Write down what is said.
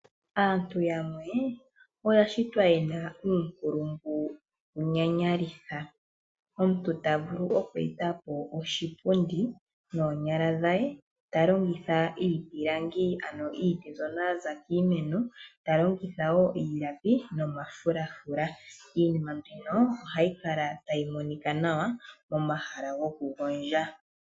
Aantu yamwe oya shitwa yena uunkulungu wunyanyalitha, omuntu ta vulu oku etapo oshipundi noonyala dhe ta longitha iipilangi ano iiti mbyono yaza kiimeno ta longitha wo iilapi nomafulafula iinima mbino ohayi kala tayi monika nawa momahala goku gondja.